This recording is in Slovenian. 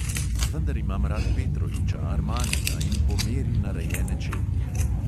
Vendar imam rad petrovića, armanija in po meri narejene čevlje.